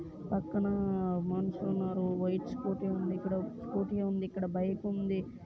పక్కన మనుషులు ఉన్నారు. వైట్ స్కూటీ ఉంది ఇక్కడ స్కూటీ ఉంది. ఇక్కడ బైక్ ఉంది.